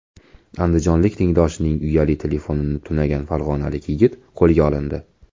Andijonlik tengdoshining uyali telefonini tunagan farg‘onalik yigit qo‘lga olindi.